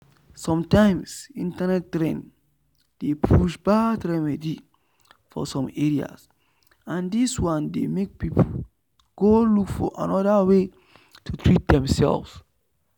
sometimes internet trend dey push bad remedy for some areas and this one dey make people go look for another way to treat demself.